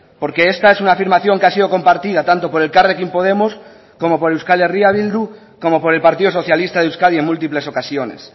porque esta es una afirmación que ha sido compartida tanto por elkarrekin podemos como por euskal herria bildu como por el partido socialista de euskadi en múltiples ocasiones